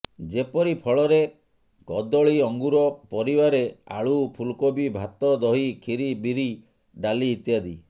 ଯେପରି ଫଳରେ କଦଳୀ ଅଙ୍ଗୁର ପରିବାରେ ଆଳୁ ଫୁଲକୋବି ଭାତ ଦହି ଖିରି ବିରି ଡ଼ାଲି ଇତ୍ୟାଦି